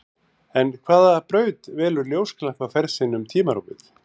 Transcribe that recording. En hvaða braut velur ljósglampi á ferð sinni um tímarúmið?